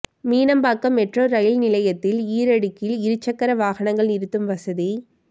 Meenambakkam metro rail நிலையத்தில் ஈரடுக்கில் இருசக்கர வாகனங்கள் நிறுத்தும் வசதி